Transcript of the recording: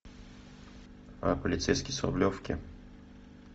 полицейский с рублевки